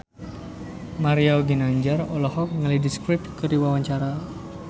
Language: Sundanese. Mario Ginanjar olohok ningali The Script keur diwawancara